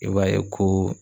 I b'a ye koo